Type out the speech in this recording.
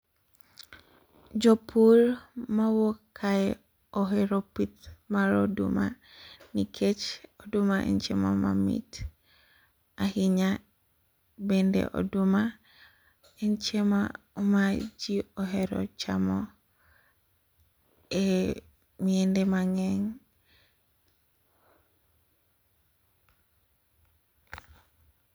Jopur mwauok kae ohero pith mar oduma, nikech oduma en chiemo mamit ahinya. Bende oduma en chiemo ma ji ohero chamo e miende mang'eny.